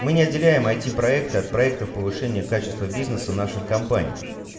мы неотделяемые эти проекты от проекта в повышении качества бизнеса наших компаний